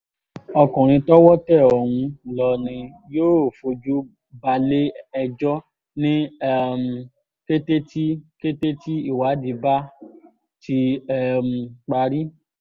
ọkùnrin tọ́wọ́ tẹ ọ̀hún lọ ni yóò fojú balẹ̀-ẹjọ́ ní um kété tí kété tí ìwádìí bá ti um parí